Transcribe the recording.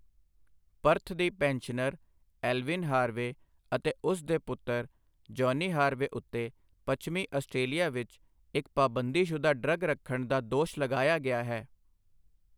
Perth ਦੀ pensioner Evelyn Harvey ਅਤੇ ਉਸ ਦੇ ਪੁੱਤਰ ਜੌਨੀ ਹਾਰਵੇ ਉੱਤੇ ਪੱਛਮੀ ਆਸਟਰੇਲੀਆ ਵਿੱਚ ਇੱਕ ਪਾਬੰਦੀਸ਼ੁਦਾ ਡਰੱਗ ਰੱਖਣ ਦਾ ਦੋਸ਼ ਲਗਾਇਆ ਗਿਆ ਹੈ।